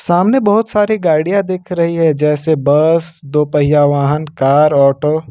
सामने बहुत सारी गाड़ियां दिख रही है जैसे बस दो पहिया वाहन कर ऑटो।